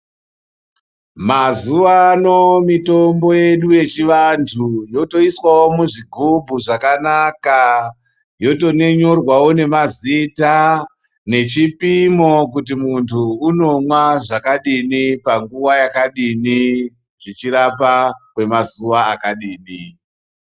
Mazuwano mitombo yedu yechivantu yotoiswawo muzvigubhu zvakanaka, yotonyorwawo nemazita nechipimo kuti muntu unomwa zvakadini panguwa yakadini zvichirapa kwemazuwa akadini.